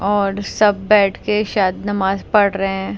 और सब बैठ के शायद नमाज पढ़ रहे हैं।